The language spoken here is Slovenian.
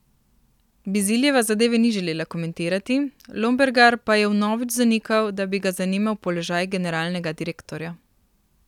Biziljeva zadeve ni želela komentirati, Lombergar pa je vnovič zanikal, da bi ga zanimal položaj generalnega direktorja.